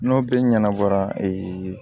N'o bɛ ɲɛnabɔ